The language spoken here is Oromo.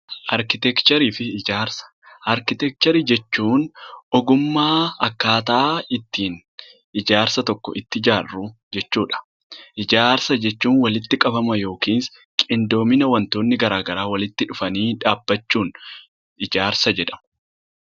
Arkitekcherii jechuun ogummaa akkatti ijaarsa tokko itti ijaarru jechuudha. Ijaarsa jechuun walitti qabama yookiin qindoomina wantoonni garagaraa walitti dhufanii dhaabbachuun ijaarsa jedhama.